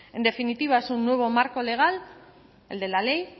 en definitiva es un nuevo marco legal el de la ley